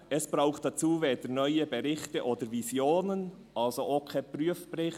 «Es braucht dazu weder neue Berichte oder Visionen», also auch keinen Prüfbericht.